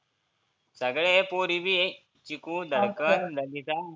सगळे आहे पोरी बी आहे. चीकु, धडकन, नमीता